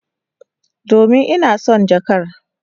Domin ina son jakar.